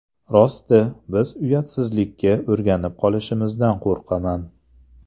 Rosti, biz uyatsizlikka o‘rganib qolishimizdan qo‘rqaman.